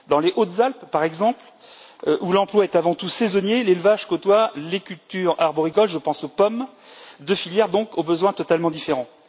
Dans les Hautes Alpes, par exemple, où l'emploi est avant tout saisonnier, l'élevage côtoie les cultures arboricoles je pense aux pommes deux filières donc, aux besoins totalement différents.